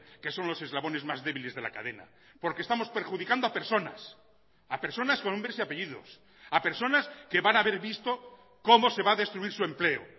que son los eslabones más débiles de la cadena porque estamos perjudicando a personas a personas con nombres y apellidos a personas que van a ver visto cómo se va a destruir su empleo